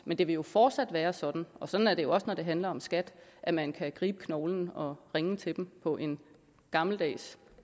men det vil jo fortsat være sådan og sådan er det jo også når det handler om skat at man kan gribe knoglen og ringe til dem på en gammeldags